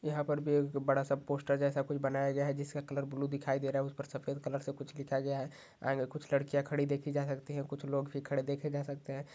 यहा पर भी एक बड़ा सा पोस्टर जैसा कुछ बनाया गया है जिसका कलर ब्लु दिखाई दे रहा है ऊपर सफेद कलर से कुछ लिखा गया है कुछ लड़कियों खड़ी देखी जा सकती है कुछ लोग भी खड़े देखे जा सकते है।